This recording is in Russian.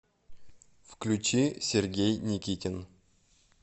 включи сергей никитин